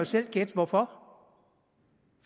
selv gætte hvorfor